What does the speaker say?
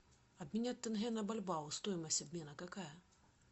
обменять тенге на бальбао стоимость обмена какая